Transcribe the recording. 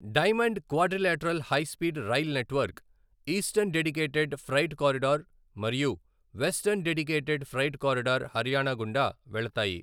Diamond quadrilateral high speed rail network, eastern dedicated freight corridor మరియు western dedicated freight corridor Haryana గుండా వెళ్తాయి.